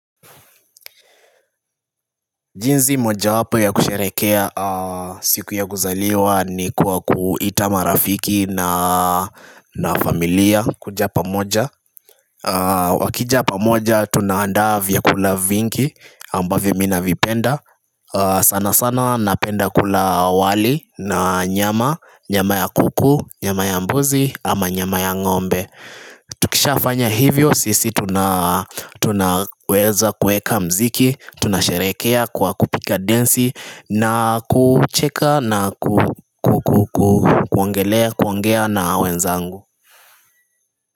Jinsi moja wapo ya kusherehekea siku ya kuzaliwa ni kuwa kuita marafiki na familia kuja pamoja Wakija pamoja tunaandaa vyakula vingi ambavyo mi navipenda sana sana napenda kula wali na nyama, nyama ya kuku, nyama ya mbuzi ama nyama ya ngombe Tukisha fanya hivyo sisi tunaweza kueka mziki. Tunasherehekea kwa kupiga densi na kucheka na kuongelea kuongea na wenzangu.